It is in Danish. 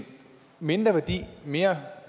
mindre værdi og mere